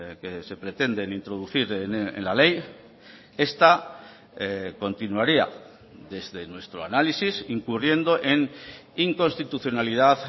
que se pretenden introducir en la ley esta continuaría desde nuestro análisis incurriendo en inconstitucionalidad